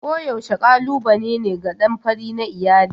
Koyaushe kalubale ne ga ɗan fari na iyali.